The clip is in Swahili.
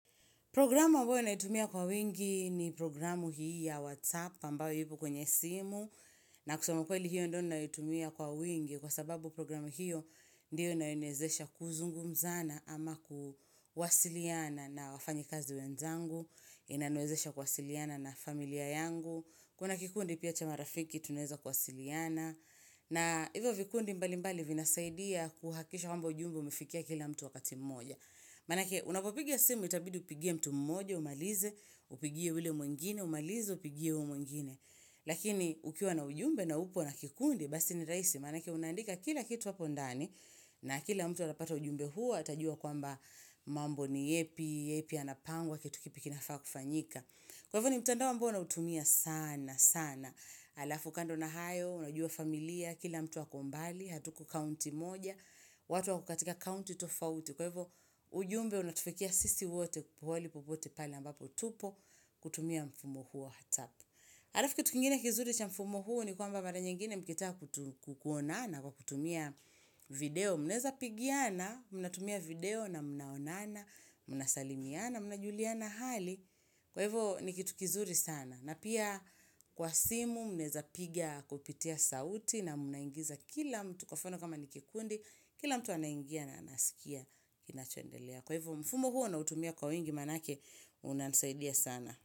Programu ambayo naitumia kwa wingi ni programu hii ya WhatsApp ambayo ipo kwenye simu. Na kusema ukweli hiyo ndio naitumia kwa wingi kwa sababu programu hiyo ndiyo inaniezesha kuzungumzana ama kuwasiliana na wafanyi kazi wenzangu, inaniwezesha kuwasiliana na familia yangu. Kuna kikundi pia chamarafiki tunaeza kuwasiliana na hivyo vikundi mbali mbali vinasaidia kuhakisha kwamba ujumbe umefikia kila mtu wakati mmoja. Manake unapopiga simu itabidi upigia mtu mmoja umalize, upigia yule mwingine, umalize, upigia yule mwingine Lakini ukiwa na ujumbe na upo na kikundi, basi ni raisi Manake unandika kila kitu hapo ndani na kila mtu atapata ujumbe huo Atajua kwamba mambo ni yepi, yepi yanapangwa, kitu kipi kinafaa kufanyika. Kwa hivyo ni mtanda ambao nautumia sana sana Alafu kando na hayo, unajua familia, kila mtu ako mbali, hatuko kaunti moja watu wakokatika kaunti tofauti, Kwa hivyo ujumbe unatufikia sisi wote pahali popote pale ambapo tupo kutumia mfumo huo WhatsApp. Halafu kitu kingine kizuri cha mfumo huo Nikwamba mara nyingine mkitaka kukuonana Kwa kutumia video mneza pigiana. Mnatumia video na mnaonana, mnasalimiana, mnajuliana hali. Kwa hivyo ni kitu kizuri sana Napia kwa simu mneza pigia kupitia sauti na mnaingiza kila mtu kwa mfano kama nikikundi kila mtu anaingia na anasikia kinachondelea. Kwa hivyo mfumo huo nautumia kwa wingi manake unanisaidia sana.